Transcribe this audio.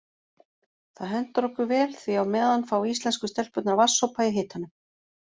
Það hentar okkur vel því á meðan fá íslensku stelpurnar vatnssopa í hitanum.